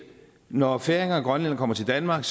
når færinger og grønlændere kommer til danmark